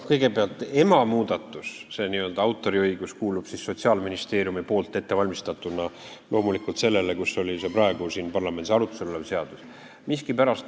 Kõigepealt, emamuudatus, see n-ö autoriõigus kuulub Sotsiaalministeeriumis ettevalmistatuna loomulikult sellele, praegu siin parlamendis arutlusel olevale seadusele.